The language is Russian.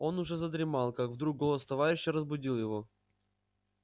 он уже задремал как вдруг голос товарища разбудил его